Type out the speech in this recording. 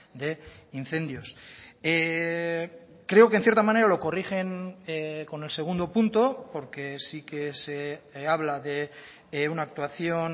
de incendios creo que en cierta manera lo corrigen con el segundo punto porque sí que se habla de una actuación